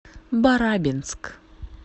барабинск